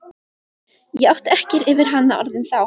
Ég átti ekki yfir hana orðin þá.